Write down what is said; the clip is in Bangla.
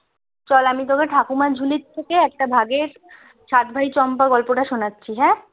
চল আমি তোকে ঠাকুমার ঝুলি থেকে একটা ভাগের সাত ভাই চম্পা গল্পটা শোনাচ্ছি হ্যাঁ